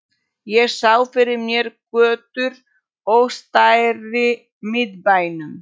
Ég sá fyrir mér götur og stræti í miðbænum